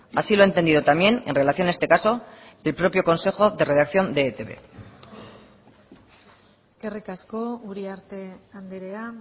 así lo ha entendido también en relación a este caso el propio consejo de redacción de etb eskerrik asko uriarte andrea